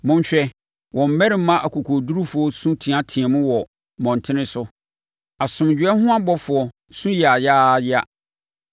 Monhwɛ, wɔn mmarima akokoɔdurufoɔ su teateaam wɔ mmɔntene so; asomdwoeɛ ho abɔfoɔ su yaayaaya.